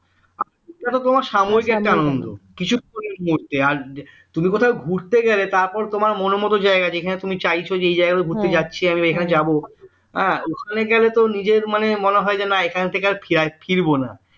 একটা তোমার সামরিকএকটা আনন্দ আর তুমি কোথায় ঘুরতে গেলে তারপর তোমার মনের মত জায়গা যেখানে তুমি চাইছো যে এই জায়গাটা তুমি ঘুরতে যাচ্ছি আমি যাব হ্যাঁ ওখানে গেলে তো নিজের মানে মনে হয় যেন এখান থেকে আর ফিরবো না